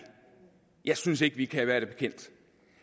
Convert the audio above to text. jeg synes ikke vi kan være det bekendt